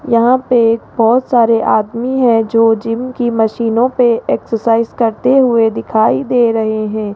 यहां पे बहौत सारे आदमी है जो जिम की मशीनों पे एक्सरसाइज करते हुए दिखाई दे रहे हैं।